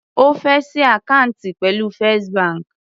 Ó fé ṣí àkáǹtì pẹ̀lú First bank.